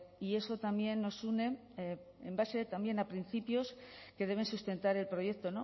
y eso también nos une en base también a principios que deben sustentar el proyecto